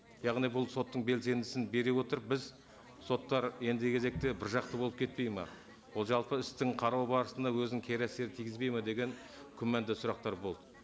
яғни бұл соттың белсендісін бере отырып біз соттар ендігі кезекте біржақты болып кетпейді ме ол жалпы істің қарау барысында өзінің кері әсерін тигізбейді ме деген күмәнді сұрақтар болды